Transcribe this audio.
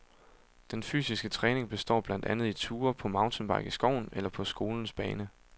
Den fysiske træning består blandt andet i ture på mountainbike i skoven eller på skolens bane.